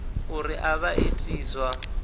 uri a vha iti zwa